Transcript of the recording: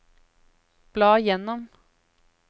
bla gjennom